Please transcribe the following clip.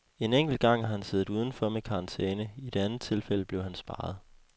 En enkelt gang har han siddet uden for med karantæne, i det andet tilfælde blev han sparet.